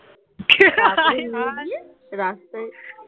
নিয়ে গিয়ে রাস্তায়